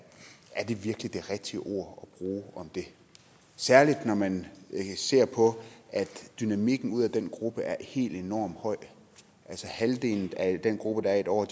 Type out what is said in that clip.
er det virkelig det rigtige ord bruge om det særlig når man ser på at dynamikken ud af den gruppe er helt enormt høj altså halvdelen af den gruppe der er i et år